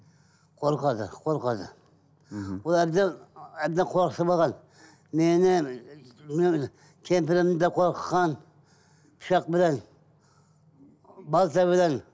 қорқады қорқады мхм ол әбден әбден қорқытып алған мені немене кемпірімді қорқытқан пышақпенен балтаменен